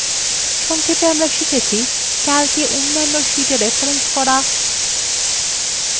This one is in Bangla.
সংক্ষেপে আমরা শিখেছি :